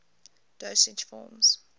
dosage forms